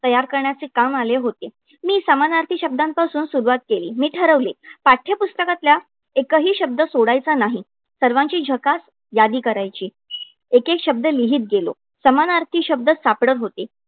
तयार करण्याचे काम आले होते. मी समानार्थी शब्दांपासून सुरवात केली. मी ठरवले, पाठ्यपुस्तकातल्या एकही शब्द सोडायचा नाही. सर्वांची झकास यादी करायची. एकेक शब्द लिहीत गेलो. समानार्थी शब्द सापडत होते.